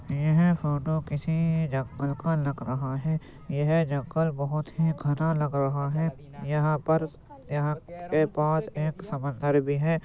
यह फोटो किसी जंगल का लग रहा है। यह जंगल बोहत ही घना लग रहा है। यहाँ पर यहाँ के पास एक समंदर भी है।